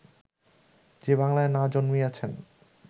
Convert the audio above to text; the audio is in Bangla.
যে বাংলায় না জন্মিয়াছেন